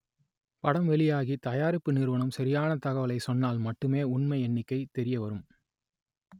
படம் வெளியாகி தயா‌ரிப்பு நிறுவனம் ச‌ரியான தகவலை சொன்னால் மட்டுமே உண்மை எண்ணிக்கை தெ‌ரியவரும்